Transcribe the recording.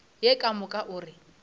ye ka moka o re